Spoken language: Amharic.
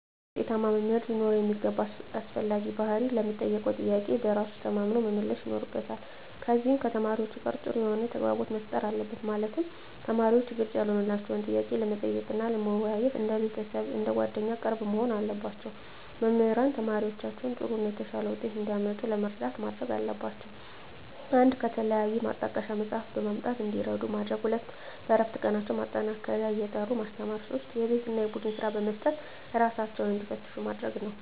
አንድ ውጤታማ መምህር ሊኖረው የሚገባ አስፈላጊ ባህሪ ለሚጠየቀው ጥያቄ በራሱ ተማምኖ መመለስ ይኖርበታል ከዚም ከተማሪዎቹ ጋር ጥሩ የሆነ ተግባቦት መፍጠር አለበት ማለትም ተማሪዎች ግልጽ ያልሆነላቸውን ጥያቄ ለመጠየቅ እና ለመወያየት እንደ ቤተሰብ አንደ ጓደኛ ቅርብ መሆን አለባቸው። መምህራን ተማሪዎቻቸውን ጥሩ እና የተሻለ ውጤት እንዲያመጡ ለመርዳት ማድረግ ያለባቸው 1 ከተለያዩ ማጣቀሻ መፅሃፍትን በማምጣት እንዲረዱ ማድረግ 2 በእረፍት ቀናቸው ማጠናከሪያ እየጠሩ ማስተማር 3 የቤት እና የቡድን ስራ በመስጠት እራሳቸውን እንዲፈትሹ ማድረግ ነው